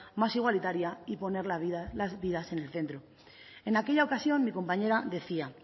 más igualitaria y poner la vida las vidas en el centro en aquella ocasión mi compañera decía